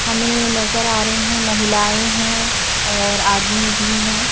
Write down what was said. हमें नजर आ रही हैं महिलाएं हैं और आदमी भी हैं।